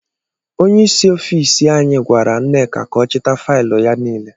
Ónyé ịsị ọffici anyị gwara Nneka ka ọ chita faịlụ ya niile.